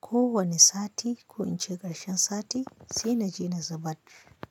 ko wani sati ko in ci karshen sati sai naje na zubar.